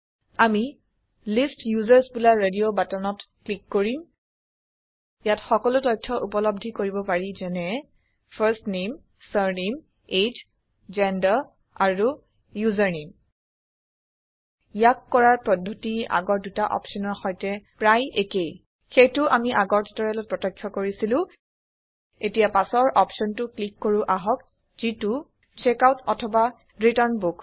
আমি list users বুলা radio বাটনত ক্লিক কৰিম ইয়াত সকলো তথ্য ঊপলব্ধি কৰিব পাৰি যেনে first name surname age gender আৰু ইউচাৰনামে ইয়াক কৰাৰ পদ্ধতি আগৰ দুটা অপচনৰ সৈতে প্ৰায় একেই সেইটো আমি আগৰ টিউটৰিয়েলত প্ৰত্যক্ষ কৰিছিলো এতিয়া পাছৰ অপচনটো ক্লিক কৰো আহক যিটো চেকআউট অথবা ৰিটাৰ্ণ বুক